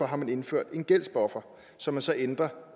har man indført en gældsbuffer som man så ændrer